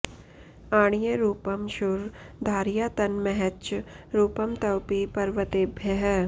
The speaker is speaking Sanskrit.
अणीय रूपं क्षुर धारया तन् महच्च रूपं त्वपि पर्वतेभ्यः